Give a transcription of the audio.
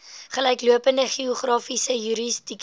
gelyklopende geografiese jurisdiksie